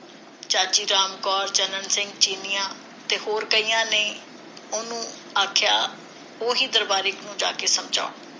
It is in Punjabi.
ਚਾਚੀ ਰਾਮ ਕੌਰ, ਚੰਨਣ ਸਿੰਘ ਚੀਨੀਆਂ ਤੇ ਹੋਰ ਕਈਆਂ ਨੂੰ ਉਹਨੇ ਆਖਿਆ ਕਿ ਉਹ ਹੀ ਦਰਬਾਰੇ ਨੂੰ ਜਾ ਕੇ ਸਮਝਾਉਣ।